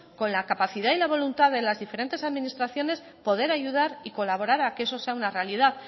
con la capacidad y la voluntad de las diferentes administraciones poder ayudar y colaborar a que eso sea una realidad